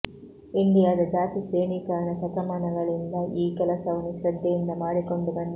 ಇಂಡಿಯಾದ ಜಾತಿ ಶ್ರೇಣೀಕರಣ ಶತಮಾನಗಳಿಂದ ಈ ಕೆಲಸವನ್ನು ಶ್ರದ್ಧೆಯಿಂದ ಮಾಡಿಕೊಂಡು ಬಂದಿದೆ